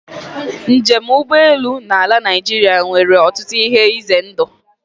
Njem ụgbọelu na ala Naịjirịa nwere ọtụtụ ihe ize ndụ.